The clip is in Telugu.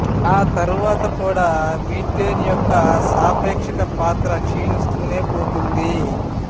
ఆ తరువాత కూడా మీథేన్ యొక్క సాపేక్షక పాత్ర క్షీణిస్తూనే పోతుంది